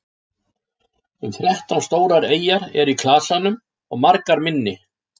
um þrettán stórar eyjar eru í klasanum og margar minni